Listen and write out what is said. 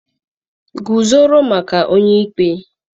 guzoro maka onye ikpe